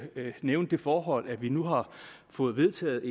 nævne det forhold at vi nu har fået vedtaget